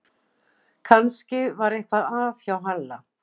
Kannski var eitthvað að hjá Halla